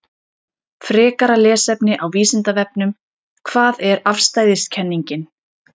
Frekara lesefni á Vísindavefnum: Hvað er afstæðiskenningin?